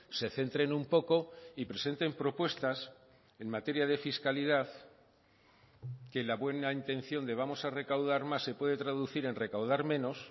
se centren un poco y presenten propuestas en materia de fiscalidad que la buena intención de vamos a recaudar más se puede traducir en recaudar menos